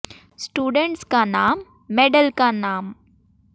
students का नाम medal का नाम